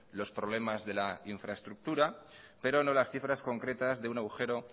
los problemas de la infraestructura pero no las cifras concretas de un agujero